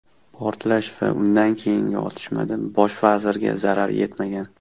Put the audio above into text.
Portlash va undan keyingi otishmada bosh vazirga zarar yetmagan .